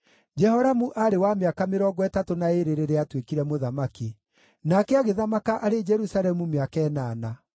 Jehoramu aarĩ wa mĩaka mĩrongo ĩtatũ na ĩĩrĩ rĩrĩa aatuĩkire mũthamaki. Nake agĩthamaka arĩ Jerusalemu mĩaka ĩnana.